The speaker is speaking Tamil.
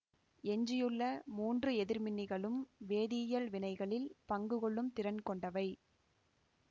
எஞ்சியுள்ள மூன்று எதிர்மின்னிகளும் வேதியியல் வினைகளில் பங்கு கொள்ளும் திறம் கொண்டவை